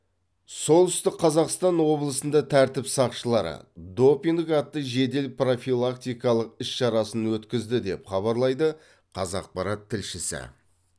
солтүстік қазақстан облысында тәртіп сақшылары допинг атты жедел профилактикалық іс шарасын өткізді деп хабарлайды қазақпарат тілшісі